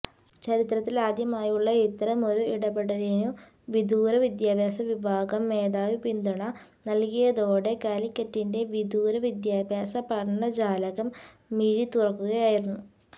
ചരിത്രത്തിലാദ്യമായുള്ള ഇത്തരമൊരു ഇടപെടലിനു വിദൂര വിദ്യാഭ്യാസ വിഭാഗം മേധാവി പിന്തുണ നൽകിയതോടെ കാലിക്കറ്റിന്റെ വിദൂര വിദ്യാഭ്യാസ പഠനജാലകം മിഴിതുറക്കുകയായിരുന്നു